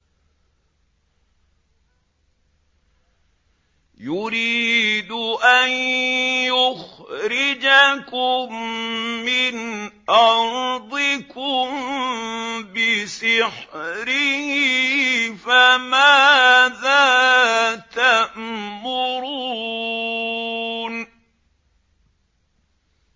يُرِيدُ أَن يُخْرِجَكُم مِّنْ أَرْضِكُم بِسِحْرِهِ فَمَاذَا تَأْمُرُونَ